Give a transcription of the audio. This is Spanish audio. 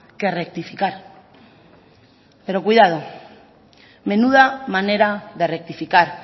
que rectificar pero cuidado menuda manera de rectificar